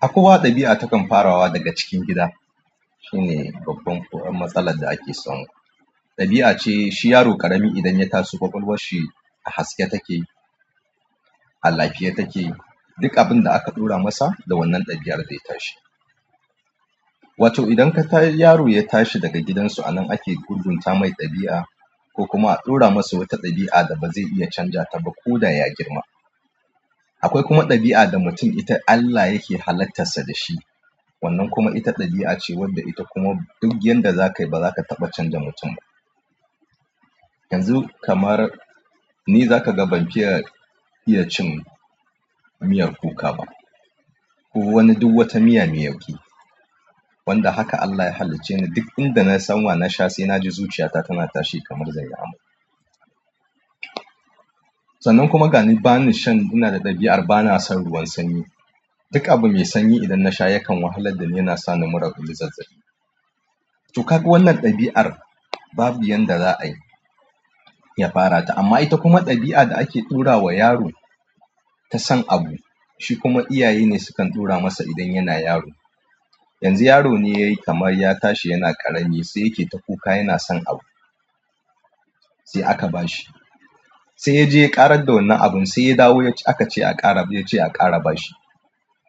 Akowa, ɗabi'a ta kam farawa daga cikin gida shine babban ko matsalar da ake samu. Ɗabi'a ce shi yaro ƙarami idan ya taso ƙwaƙwalwar shi a haske take, a lafiye take. Duk abin da aka ɗura masa da wannan ɗabi'ar zai tashi. Wato idan ka ta yaro ya tashi daga gidansu a nan ake gurgunta mai ɗabi'a ko kuma a ɗora masa wata ɗabi'a da ba zai iya canja ta ba ko da ya girma. Akwai kuma ɗabi'a da mutum ita Allah yake halittarsa da shi. Wannan kuma ita ɗabi'a ce wadda ita kuma duk yanda za ka yi ba za ka taɓa canja mutum ba. Yanzu kamar ni, za ka ga ban fiya iya cin miyar kuka ba. Ko wani duk wata miya mai yauƙi. Wanda haka Allah ya halicce ni. Duk inda na san wa na sha sai naji zuciyata tana tashi kamar zan yi amai. Sannan kuma ga ni ba ni shan. Ina da ɗabi'ar ba na son ruwan sanyi. Duk abu mai sanyi idan na sha yakan wahalar da ni, yana sa ni mura kullum zazzaɓi. To kaga wannan ɗabi'ar babu yanda za a yi ya fara ta. Amma ita kuma ɗabi'a da ake ɗora wa yaro ta san abu. Shi kuma iyaye ne sukan tura masa idan yana yaro. Yanzu yaro ne yayi kamar ya tashi yana ƙarami sai yake ta kuka yana son abu sai aka ba shi. Sai ya je ya ƙarar da wannan abun, sai ya dawo ya ce aka ƙara. Ya ce a ƙara ba shi.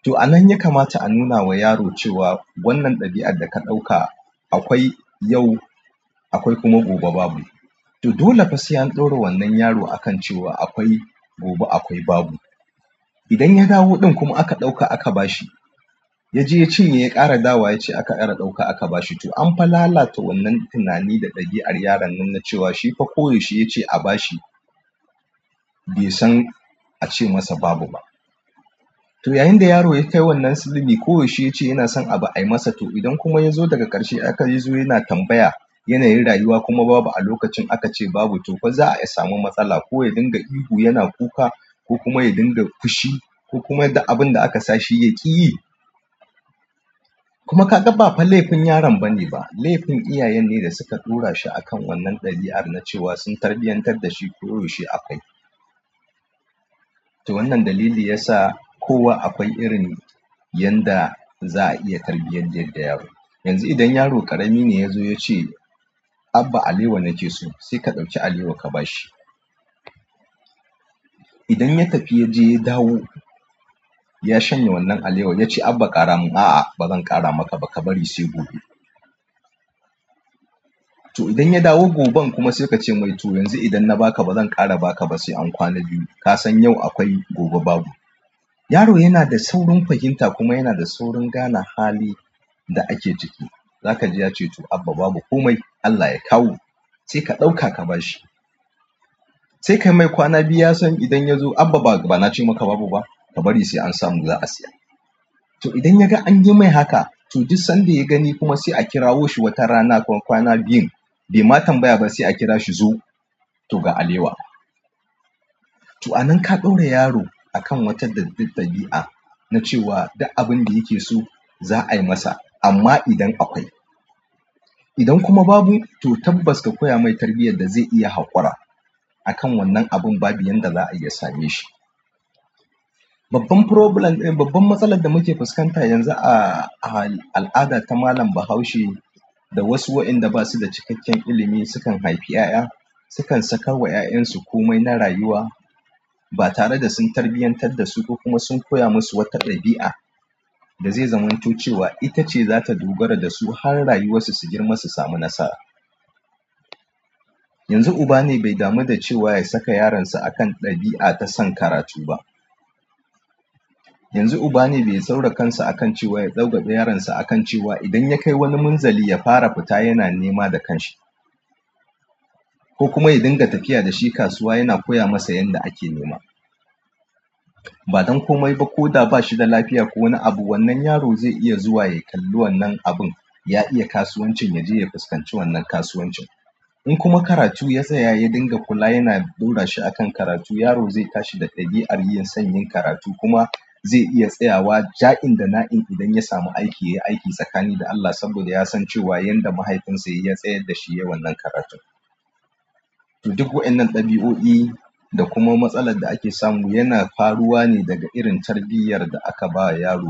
To anan ya kamata anuna ma yaro cewa wannan ɗabi'a daka ɗauka akwai yau akwai kuma gobe babu. To dole fasai an ɗora wannan yaro a kan cewa akwai gobe akwai babu. Idan ya dawo ɗin kuma aka ɗauka aka ba shi ya je ya cinye ya ƙara dawo ya ce aka ƙara ɗauka aka ba shi. To an fa lalata wannan tunani da ɗabi'ar yaron nan na cewa shi fa ko yaushe ya ce a ba shi bai san a ce masa babu ba. To yayin da yaro ya kai wannan sulbi, ko yaushe ya ce yana son abu ai masa. To idan kuma ya zo daga ƙarshe aka yi so yana tambaya, yanayin rayuwa kuma babu a lokacin aka ce babu. Tofa za'a samu matsala ko yadinga ihu yana kuka ko kuma yadinga fushi ko kuma duk abinda aka sashi yakiyi. Kuma ka ga ba fa laifin yaron bane ba. Laifin iyayen ne da suka tura shi a kan wannan ɗabi'ar na cewa sun tarbiyantar da shi koyaushe akwai. To wannan dalila yasa kowa akwai irin yanda za'a iya tarbiyantar da yaro. Yanzu idan yaro ƙarami ne ya zo ya ce "Abba alewa na ke so" sai ka ɗauki alewa ka ba shi. Idan ya tafi ya je ya dawo ya shanye wannan alewar ya ce "Abba ƙara mun", "A'a ba zan ƙara maka ba ka bari sai gobe". To idan ya dawo goben kuma sai ka ce mai to yanzu idan na ba ka ba zan ƙara ba ka ba sai an kwana biyu. Ka san yau akwai gobe babu. Yaro yana da saurin fahimta kuma yana da saurin gane hali da ake ciki. Za ka je ya ce "to Abba babu" ko "mai Allah ya kawo" sai ka ɗauka ka ba shi. Sai ka mai kwana biyu ya san idan ya zo "Abba ba na ce maka babu ba ka bari sai an samu za a siya". To idan yaga anyimai haka to duk sanda yagani kuma sai akirawo shi watarana kwana biyun baima tambaya ba sai akira shi zo! To ga alewa. To a nan ka ɗora yaro a kan wata ɗabi'a na cewa duk abin da yake so za a yi masa. Amma idan akwai. Idan kuma babu to tabbas ka koya mai tarbiyyar da zai iya haƙora a kan wannan abun babu yanda za a iya same shi. Babban problem, babban matsalar da muke fuskanta yanzu a al'ada ta malam Bahaushe da wasu waɗanda ba su da cikakken ilimi sukan haifi 'ya'ya sukan saka wa 'ya'yansu komai na rayuwa ba tare da sun tarbiyantar da su ba kuma sun koya musu wata ɗabi'a da zai zamanto cewa ita ce za ta dogara da su har rayuwarsu su girma su samu nasara. Yanzu uba ne bai damu da cewa ya saka yaronsa a kan ɗabi'a ta son karatu ba. Yanzu uba ne bai saura kansa a kan cewa ya ɗaura yaronsa a kan cewa idan ya kai wani munzali ya fara fita yana nema da kanshi. Ko kuma ya dinga tafiya da shi kasuwa yana koya masa yanda ake nema. Ba don komai ba ko da ba shi da lafiya ko wani abu wannan yaro zai iya zuwa ya kalli wannan abun. Ya iya kasuwan cin ya je ya fuskanci wannan kasuwan cin. In kuma karatu ya tsaya ya dinga kula yana ɗora shi a kan karatu yaro zai tashi da ɗabi'ar son yin karatu kuma zai iya tsayawa ja in da na in idan ya samu aiki ya yi aiki tsakani da Allah saboda ya san cewa yanda mahaifinsa ya tsayar da shi yayi wannan karatun. To duk waɗannan ɗabi'o'i da kuma matsalar da ake samu yana faruwa ne daga irin tarbiyyar da aka ba yaro.